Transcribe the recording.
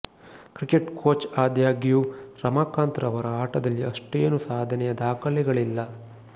cricket coach ಆದಾಗ್ಯೂ ರಮಾಕಾಂತ್ ರವರ ಆಟದಲ್ಲಿ ಅಷ್ಟೇನೂ ಸಾಧನೆಯ ದಾಖಲೆಗಳಿಲ್ಲ